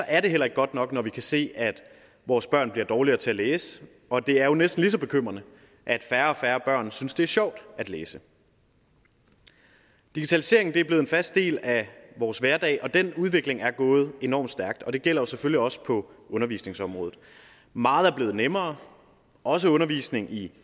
er det heller ikke godt nok når vi kan se at vores børn bliver dårligere til at læse og det er jo næsten lige så bekymrende at færre og færre børn synes det er sjovt at læse digitaliseringen er blevet en fast del af vores hverdag og den udvikling er gået enormt stærkt og det gælder selvfølgelig også på undervisningsområdet meget er blevet nemmere også undervisningen i